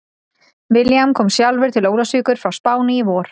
William kom sjálfur til Ólafsvíkur frá Spáni í vor.